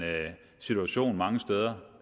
situation mange steder